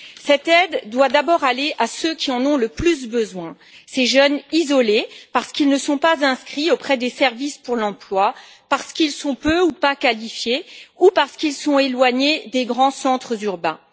Cette aide doit d'abord aller à ceux qui en ont le plus besoin, à ces jeunes isolés parce qu'ils ne sont pas inscrits auprès des services pour l'emploi, parce qu'ils sont peu ou pas qualifiés ou parce qu'ils sont éloignés des grands centres urbains.